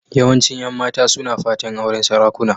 Yawancin 'yan mata suna fatan auren sarakuna.